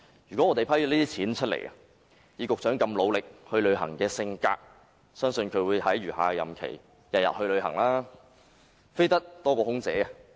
如這筆撥款獲批，以局長熱愛外遊的個性，相信會在餘下任期每日外訪，比空姐"飛"得更頻繁。